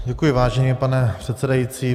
Děkuji, vážený pane předsedající.